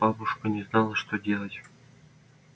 бабушка не знала что делать